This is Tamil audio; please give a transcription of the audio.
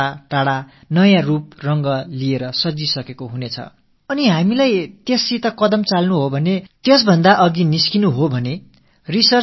அதோடு நாம் நமது நடையை இசைவாக ஆக்க வேண்டுமென்றால் ஆய்வுகளும் புதுமைகளும் கண்டிப்பாக செய்ய வேண்டும் இவை தான் தொழில்நுட்பத்தின் உயிர்